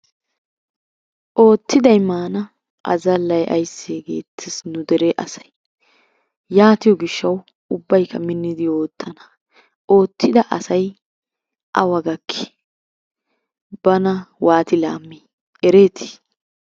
Oottiday maana azallay aysse geettes nu dere asay. Yaatiyo gishshawu ubbaykka minnidi oottana. Oottida asay awa gakki? Bana waati laammi ereeti?